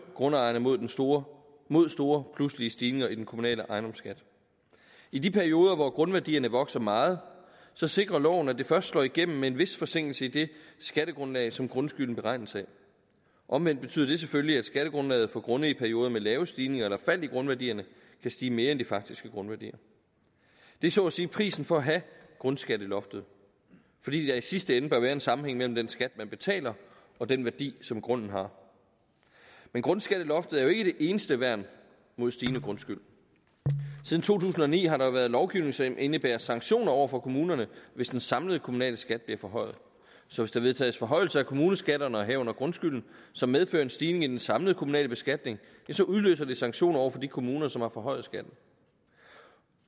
grundejerne mod store mod store pludselige stigninger i den kommunale ejendomsskat i de perioder hvor grundværdierne vokser meget sikrer loven at det først slår igennem med en vis forsinkelse i det skattegrundlag som grundskylden beregnes af omvendt betyder det selvfølgelig at skattegrundlaget for grunde i perioder med lave stigninger eller fald i grundværdierne kan stige mere end de faktiske grundværdier det er så at sige prisen for at have grundskatteloftet fordi der i sidste ende bør være en sammenhæng mellem den skat man betaler og den værdi som grunden har men grundskatteloftet er jo ikke det eneste værn mod stigende grundskyld siden to tusind og ni har der været lovgivning som indebærer sanktioner over for kommunerne hvis den samlede kommunale skat bliver forhøjet så hvis der vedtages forhøjelse af kommuneskatterne herunder grundskylden som medfører en stigning i den samlede kommunale beskatning så udløser det sanktioner over for de kommuner som har forhøjet skatten